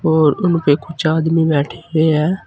और उनपे कुछ आदमी बैठे हुए है।